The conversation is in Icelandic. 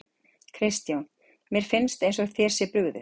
Kristján: Mér finnst eins og þér sé brugðið?